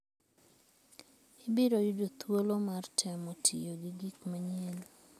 Ibiro yudo thuolo mar temo tiyo gi gik manyien.